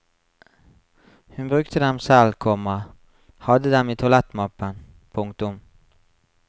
Hun brukte dem selv, komma hadde dem i toalettmappen. punktum